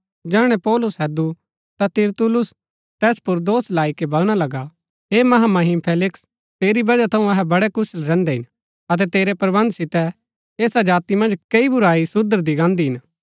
जैहणै पौलुस हैदु ता तिरतुल्लुस तैस पुर दोष लाई के बलणा लगा हे महामहिम फेलिक्स तेरी वजह थऊँ अहै वडै़ कुशल रैहन्दै हिन अतै तेरै प्रबन्ध सितै ऐसा जाति मन्ज कई बुराई सुधरदी गान्दी हिन